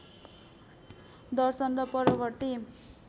दर्शन र परवर्ती